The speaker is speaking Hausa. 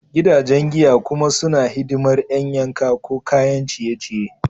Gidajen giya kuma suna hidimar ƴan yanka ko kayan ciye-ciye.